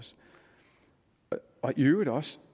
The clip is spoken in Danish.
og i øvrigt også